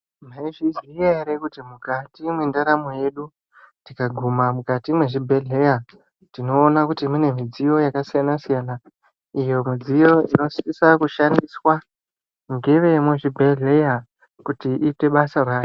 Mwaizviziya ere kuti mwendaramo yedu tikaguma mukati mwezvibhehleya tinoona kuti mune midziyo yakasiyana-siyana iyo midziyo inosisa kushandiswa ngevemuzvibhedhleya kuti iite basa rayo.